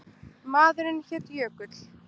Maðurinn hét Jökull.